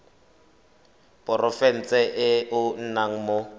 porofenseng e o nnang mo